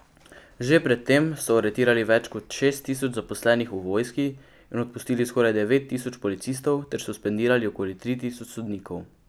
Že pred tem so aretirali več kot šest tisoč zaposlenih v vojski in odpustili skoraj devet tisoč policistov ter suspendirali okoli tri tisoč sodnikov.